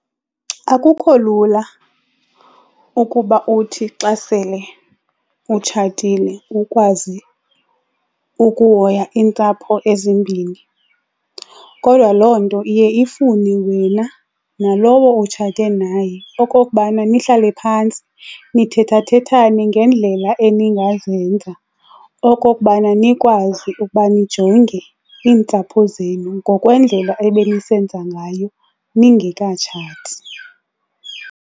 Akukho lula ukuba uthi xa sele utshatile ukwazi ukuhoya iintsapho ezimbini, kodwa loo nto iye ifune wena nalowo utshate naye okokubana nihlale phantsi nithetha-thethane ngeendlela eningazenza okokubana nikwazi ukuba nijonge iintsapho zenu ngokwendlela ebe nisenza ngayo ningekatshati.